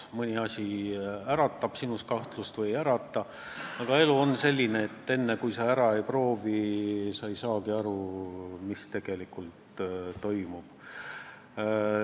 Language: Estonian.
Nii mõnigi asi äratab meis kahtlust, aga elu on selline, et enne kui sa ära ei proovi, sa ei saagi aru, mis tegelikult toimub.